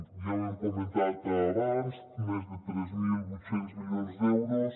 ja ho hem comentat abans més de tres mil vuit cents milions d’euros